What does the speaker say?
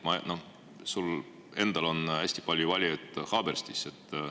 Sul endal on hästi palju valijaid Haaberstis.